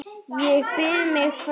Ég býð mig fram.